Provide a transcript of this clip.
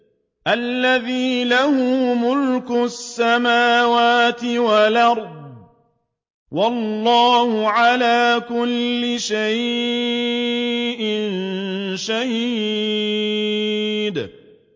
الَّذِي لَهُ مُلْكُ السَّمَاوَاتِ وَالْأَرْضِ ۚ وَاللَّهُ عَلَىٰ كُلِّ شَيْءٍ شَهِيدٌ